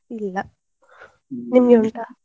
ಇಲ್ಲ, ನಿಮ್ಗೆ ಉಂಟಾ?